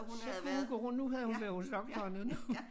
Så kunne hun gå rundt nu havde hun været hos doktoren og nu